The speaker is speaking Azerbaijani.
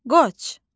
Qoç.